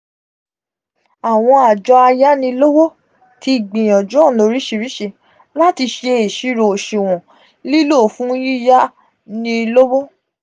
awon ajo ayanilowo ti gbiyanju ona orisirisi lati se isiro osuwon lilo fun yiya ni lowo.